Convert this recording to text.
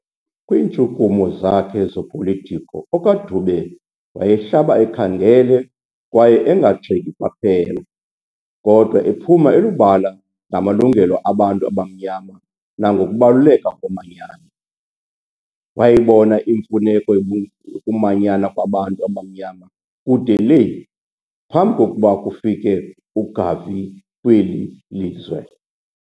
Kwiintshukumo zakhe zopolitiko okaDube wayehlaba ekhangele kwaye engagxeki kwaphela, kodwa ephuma elubala ngamalungelo abantu abamnyama nangokubaluleka komanyano - wayibona imfuneko yokumanyana kwabantu abamnyama kude le, phambi kokuba kufike uGarvey kweli lizwe.